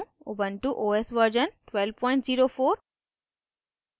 ubuntu os version 1204